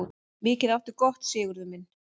Mikið áttu gott, Sigurður minn.